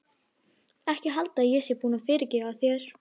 Ekki halda að ég sé búin að fyrirgefa þér.